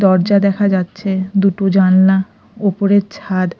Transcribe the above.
দরজা দেখা যাচ্ছে দুটো জানলা ওপরের ছাদ--